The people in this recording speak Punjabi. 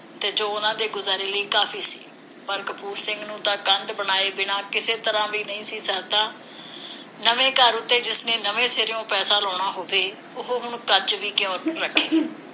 ਤੇ ਜੋ ਉਹਨਾਂ ਦੇ ਗੁਜ਼ਾਰੇ ਲਈ ਕਾਫੀ ਸੀ। ਪਰ ਕਪੂਰ ਸਿੰਘ ਨੂੰ ਤਾਂ ਕੰਧ ਬਣਾਏ ਬਿਨਾਂ ਕਿਸੇ ਤਰ੍ਹਾਂ ਵੀ ਨਹੀਂ ਸਰਦਾ। ਨਵੇਂ ਘਰ ਉਤੇ ਜਿਸਨੇ ਨਵੇਂ ਸਿਰਿਓਂ ਪੈਸਾ ਲਾਉਣਾ ਹੋਵੇ, ਉਹ ਹੁਣ ਕੱਚ ਵੀ ਕਿਉਂ ਰੱਖੇ?